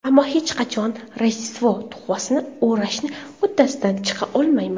Ammo hech qachon Rojdestvo tuhfasini o‘rashni uddasidan chiqa olmayman.